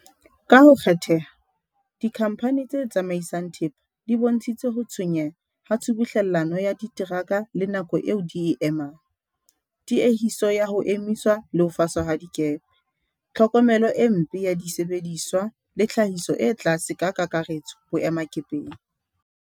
Ka ho kgetheha, dikhampha ni tse tsamaisang thepa di bontshitse ho tshwenyeha ka tshubuhlellano ya diteraka le nako eo di e emang, tiehiso ya ho emiswa le ho faswa ha dikepe, tlhokomelo e mpe ya disebe diswa le tlhahiso e tlase ka kakaretso boemakepeng.